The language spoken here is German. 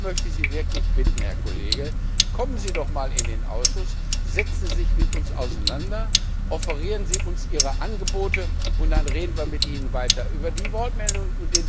Ich möchte Sie wirklich bitten, Herr Kollege, kommen Sie doch einmal in den Ausschuss. Setzen Sie sich mit uns auseinander, offerieren Sie uns Ihre Angebote, und dann reden wir mit Ihnen weiter über die Wortmeldungen.